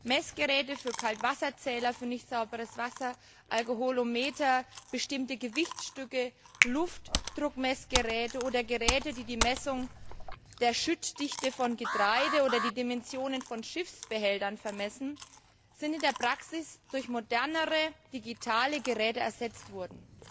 Messgeräte für Kaltwasserzähler, für nicht sauberes Wasser, Alkoholometer, bestimmte Gewichtsstücke, Luftdruckmessgeräte oder Geräte, die die Messung der Schüttdichte von Getreide oder die Dimensionen von Schiffsbehältern vermessen, sind in der Praxis durch modernere, digitale Geräte ersetzt worden.